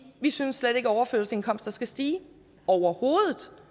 vi synes slet ikke at overførselsindkomster skal stige overhovedet